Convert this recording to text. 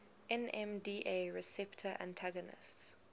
nmda receptor antagonists